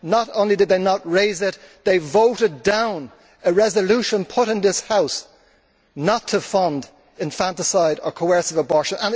Not only did they not raise it, they voted down a resolution put to this House not to fund infanticide or coercive abortion.